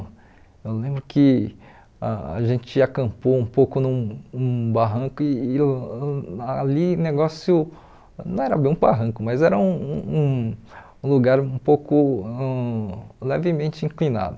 Eu lembro que a gente acampou um pouco num um barranco e e ãh ali o negócio não era bem um barranco, mas era um lugar um um um pouco ãh levemente inclinado.